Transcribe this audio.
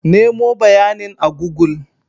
Nemo bayanin a google.